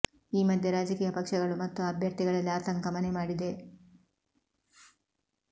ಈ ಮಧ್ಯೆ ರಾಜಕೀಯ ಪಕ್ಷಗಳು ಮತ್ತು ಅಭ್ಯರ್ಥಿಗಳಲ್ಲಿ ಆತಂಕ ಮನೆ ಮಾಡಿದೆ